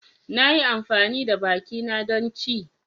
Na yi amfani da bakina don ci.